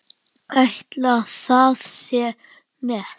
Ætli það sé met?